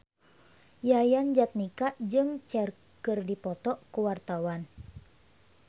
Yayan Jatnika jeung Cher keur dipoto ku wartawan